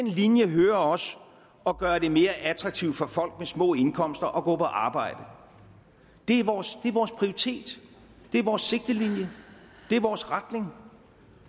linje hører også at gøre det mere attraktivt for folk med små indkomster at gå på arbejde det er vores prioritet det er vores sigtelinje det er vores retning